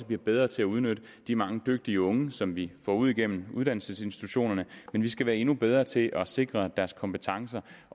bliver bedre til at udnytte de mange dygtige unge som vi får igennem uddannelsesinstitutionerne men vi skal være endnu bedre til at sikre at deres kompetencer